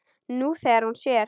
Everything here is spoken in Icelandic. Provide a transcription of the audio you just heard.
Nú þegar hún sér.